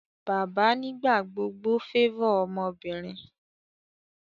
bàbá nigbagbogbo favor ọmọbinrin